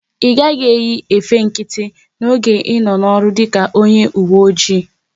Ị gaghị eyi efe nkịtị n'oge ị nọ n'ọrụ dịka onye uwe oji!